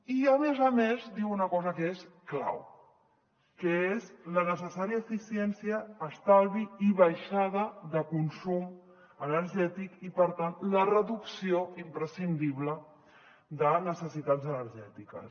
i a més a més diu una cosa que és clau que és la necessària eficiència estalvi i baixada de consum energètic i per tant la reducció imprescindible de necessitats energètiques